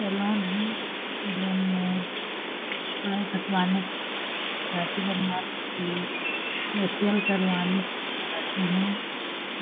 salon है salon में बाल कटवाने दाढ़ी बनवाने के लिए फेशिअल करवाने जाते है